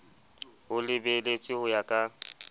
ho lebeletswe ho ya ka